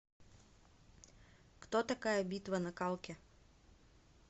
кто такая битва на калке